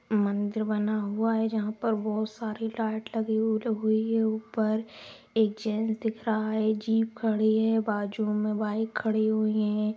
मंदिर बना हुआ है । जहाँ पर बहुत सारी लाइट लगी हुई है। ऊपर एक जेंट्स दिख रहा है। जीप खड़ी है बाजू में बाइक खड़ी हुई है।